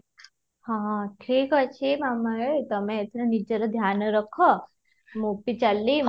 ହଁ, ଠିକ ଅଛି ତମେ ଏଥିରେ ନିଜର ଧ୍ୟାନ ରଖ ମୁଁ ବି ଚାଲିଲି